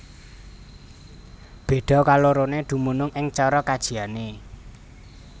Béda kaloroné dumunung ing cara kajiané